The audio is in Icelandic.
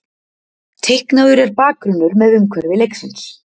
Teiknaður er bakgrunnur með umhverfi leiksins.